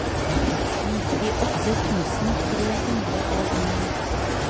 nittiåtte tusen tre hundre og ni